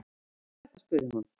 Hvað er þetta spurði hún.